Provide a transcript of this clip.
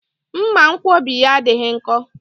Mmanwkọbi ya adịghị nkọ